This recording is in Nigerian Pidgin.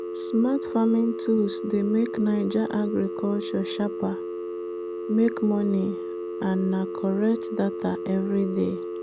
smart farming tools dey make naija agriculture sharper make money and na correct data every day.